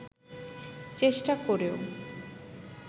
চেষ্টা করেও